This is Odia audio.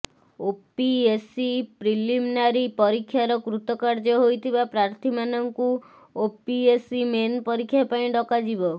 ଓପିଏସ୍ସି ପ୍ରିଲିମନାରି ପରୀକ୍ଷାର କୃତକାର୍ଯ୍ୟ ହୋଇଥିବା ପ୍ରାର୍ଥୀମାନଙ୍କୁ ଓପିଏସ୍ସି ମେନ୍ ପରୀକ୍ଷା ପାଇଁ ଡକାଯିବ